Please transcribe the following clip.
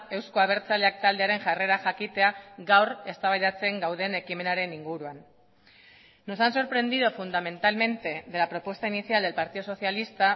eusko abertzaleak taldearen jarrera jakitea gaur eztabaidatzen gauden ekimenaren inguruan nos han sorprendido fundamentalmente de la propuesta inicial del partido socialista